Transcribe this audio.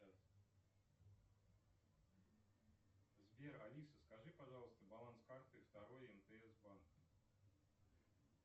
сбер алиса скажи пожалуйста баланс карты второй мтс банк